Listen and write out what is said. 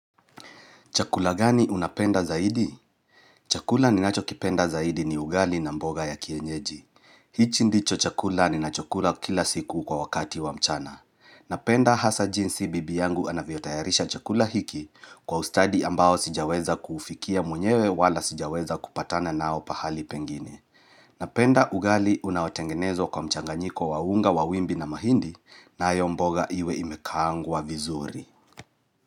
Chakula gani unapenda zaidi? Chakula ninacho kipenda zaidi ni ugali na mboga ya kienyeji. Hichi ndicho chakula ninachokula kila siku kwa wakati wa mchana. Napenda hasa jinsi bibi yangu anavyo tayarisha chakula hiki kwa ustadi ambao sijaweza kufikia mwenyewe wala sijaweza kupatana nao pahali pengini. Napenda ugali unawotengenezwa kwa mchanganyiko wa unga wa wimbi na mahindi nayo mboga iwe imekaangwa vizuri.